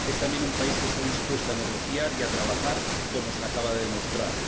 Es también un país que está dispuesto a negociar y a trabajar, como se acaba de demostrar.